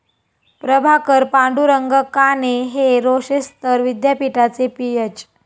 प्रभाकर पांडुरंग काने हे रोशेस्तर विद्यापीठाचे पीएच.